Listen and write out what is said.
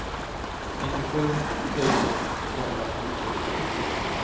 nittiosju tusen tvåhundrafemtio